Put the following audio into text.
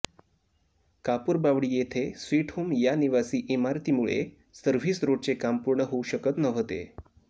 कापूरबावडी येथे sweet home या निवासी इमारतीमुळे सव्र्हिस रोडचे काम पूर्ण होऊ शकत नव्हते